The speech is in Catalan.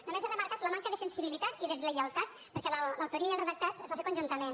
només he remarcat la manca de sensibilitat i deslleialtat perquè l’autoria i el redactat es van fer conjuntament